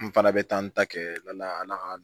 N fana bɛ taa n ta kɛ na